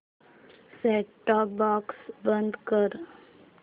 set top box बंद कर